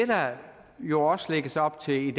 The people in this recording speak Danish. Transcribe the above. der jo også lægges op til i